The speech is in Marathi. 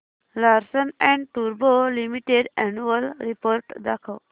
लार्सन अँड टुर्बो लिमिटेड अॅन्युअल रिपोर्ट दाखव